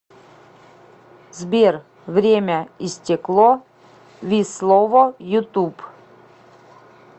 сбер время и стекло вислово ютуб